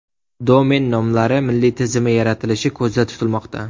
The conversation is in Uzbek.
Domen nomlari milliy tizimi yaratilishi ko‘zda tutilmoqda.